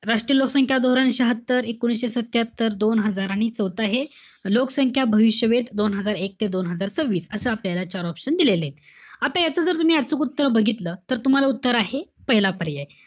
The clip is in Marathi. राष्ट्रीय लोकसंख्या धोरण, शहात्तर. एकोणीशे सत्यात्तर. दोन हजार. आणि चौथं आहे, लोकसंख्या भविष्यवेध दोन हजार एक ते दोन हजार वीस. असं आपल्याला चार option दिलेले. आता याच जर तुम्ही अचूक उत्तर बघितलं, तर तुम्हाला उत्तर आहे, पहिला पर्याय.